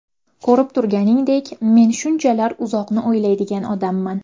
Ko‘rib turganingdek, men shunchalar uzoqni o‘ylaydigan odamman.